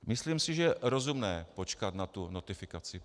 Myslím si, že je rozumné počkat na tu notifikaci.